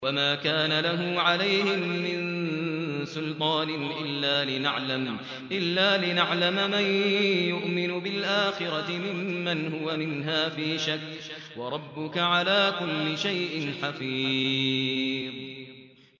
وَمَا كَانَ لَهُ عَلَيْهِم مِّن سُلْطَانٍ إِلَّا لِنَعْلَمَ مَن يُؤْمِنُ بِالْآخِرَةِ مِمَّنْ هُوَ مِنْهَا فِي شَكٍّ ۗ وَرَبُّكَ عَلَىٰ كُلِّ شَيْءٍ حَفِيظٌ